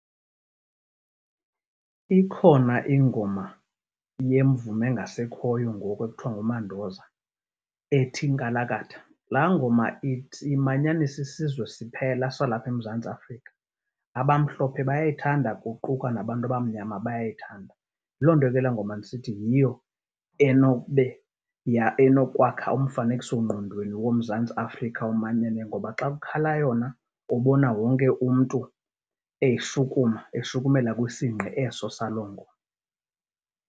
Ikhona ingoma yemvumi engasekhoyo ngoku ekuthiwa nguMandoza ethi Nkalakatha. Laa ngoma imanyanisa isizwe siphela salapha eMzantsi Afrika, abamhlophe bayayithanda kuquka nabantu abamnyama bayayithanda. Yilo nto ke laa ngoma ndisithi yiyo enobe enokwakha umfanekisongqondweni woMzantsi Afrika omanyeneyo ngoba xa kukhala yona ubona wonke umntu eshukuma, eshukumela kwisingqi eso salo ngoma.